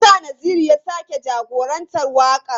Me yasa Naziru ya sake jagorantar wakar?